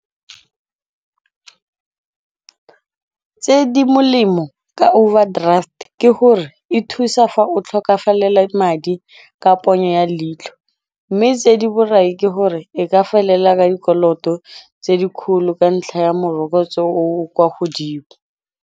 Tse di molemo ka overdraft ke gore e thusa fa o tlhokafalela madi ka ponyo ya leitlho mme tse di borai ke gore e ka felela ka dikoloto tse di kgolo ka ntlha ya morokotso o o kwa godimo.